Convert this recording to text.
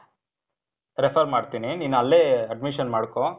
refer ಮಾಡ್ತೀನಿ. ನೀನ್ ಅಲ್ಲೇ admission ಮಾಡ್ಕೋ.